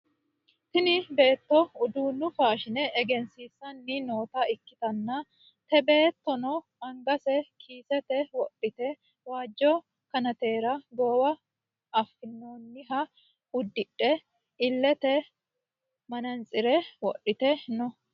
Tini beetto uduunu faashine egensiissanni noota ikkitanna te beettono angase kiisete wodhite waajo kanatera goowa fanninoha udidhe illete manatsire wodhite no